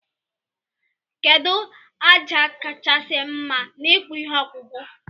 Kedu aja kachasi mma na ikpụ ihe ọkpụkpụ?